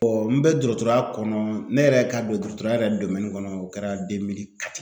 n bɛ dɔrɔtɔrɔya kɔnɔ ne yɛrɛ ka don dɔrɔtɔrɔya yɛrɛ kɔnɔ o kɛra .